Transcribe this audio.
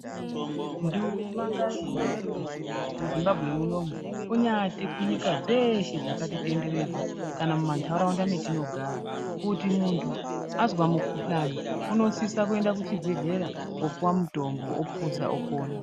Nduma ngaihambe muzimbabwe munomu kunyati kunyika dzeshe dzakatitenderedza kana muma ntaraunda mwetinogara kuti muntu azwa mukhuhlani unosisa kuenda kuchibhedhlera kupuwa mutombo opuza opona.